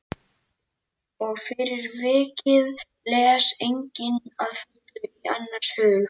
Og fyrir vikið les enginn að fullu í annars hug.